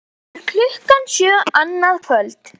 Fyrir klukkan sjö annað kvöld